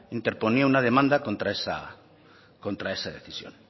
interponía una demanda contra esa decisión